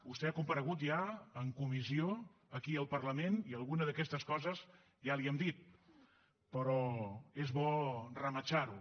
vostè ha comparegut ja en comissió aquí al parlament i alguna d’aquestes coses ja les hi hem dit però és bo rematxarho